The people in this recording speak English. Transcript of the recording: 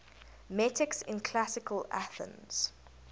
metics in classical athens